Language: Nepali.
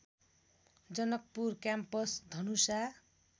जनकपुर क्याम्पस धनुषा